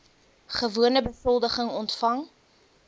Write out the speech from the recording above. gewone besoldiging ontvang